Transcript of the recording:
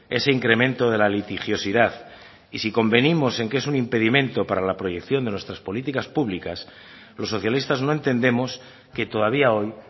ese incremento de la litigiosidad y si convenimos en que es un impedimento para la proyección de nuestras políticas públicas los socialistas no entendemos que todavía hoy